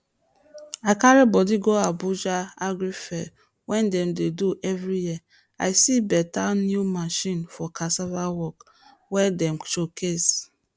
i carry body go abuja agri fair wey dem dey do every year i see beta new machine for cassava work wey dem showcase